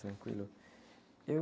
Tranquilo.